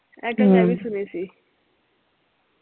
ਇਹ ਗੱਲ ਮੈਂ ਵੀ ਸੁਣੀ ਸੀ